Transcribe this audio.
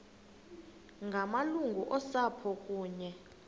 ngamalungu osapho kunye